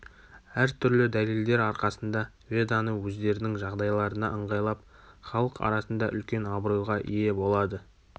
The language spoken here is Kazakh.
әр түрлі дәлелдер арқасында веданы өздерінің жағдайларына ыңғайлап халық арасында үлкен абыройға ие болады